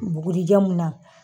Bugurijɛ mun na.